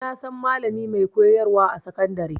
Na san malami mai koyar wa a sakandare